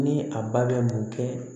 Ni a ba bɛ mun kɛ